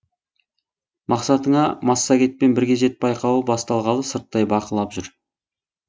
мақсатыңа массагетпен бірге жет байқауы басталғалы сырттай бақылап жүр